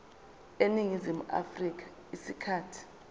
eningizimu afrika isikhathi